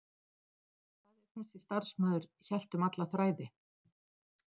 Hvað ef þessi starfsmaður hélt um alla þræði?